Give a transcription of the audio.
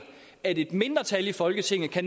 at et mindretal i folketinget